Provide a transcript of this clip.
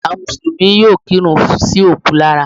Àwọn mùsùlùmí yóò kírun sí òkú lára